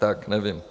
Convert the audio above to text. Tak nevím.